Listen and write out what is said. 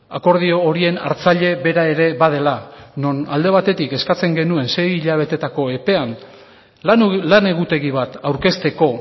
akordio horien hartzaile bera ere badela non alde batetik eskatzen genuen sei hilabetetako epean lan egutegi bat aurkezteko